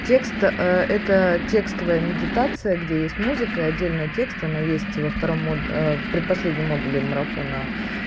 текст это тестовая медитация где есть музыка и отдельно текст она есть и во втором в предпоследнем модули марафона